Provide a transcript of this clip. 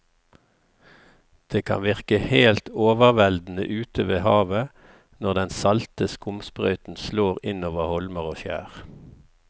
Det kan virke helt overveldende ute ved havet når den salte skumsprøyten slår innover holmer og skjær.